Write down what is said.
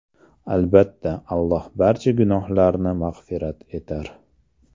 Albatta, Alloh barcha gunohlarni mag‘firat etar.